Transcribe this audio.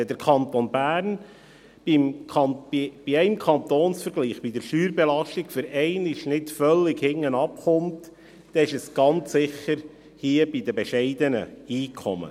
Wenn der Kanton Bern bei einem Kantonsvergleich bei der Steuerbelastung für einmal nicht völlig hinten liegt, dann ist das ganz sicher hier bei den bescheidenen Einkommen.